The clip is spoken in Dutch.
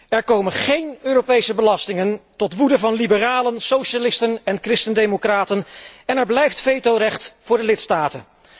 Er komen geen Europese belastingen, tot woede van liberalen, socialisten en christendemocraten, en er blijft vetorecht voor de lidstaten.